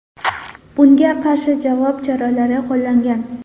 Bunga qarshi javob choralari qo‘llangan.